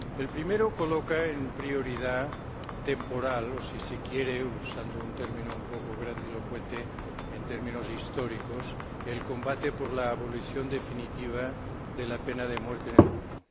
El primero coloca en prioridad temporal, o si se quiere, usando un término un poco grandilocuente en términos históricos, el combate por la abolición definitiva de la pena de muerte en el mundo.